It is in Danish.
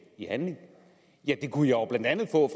i handling ja det kunne jeg blandt andet få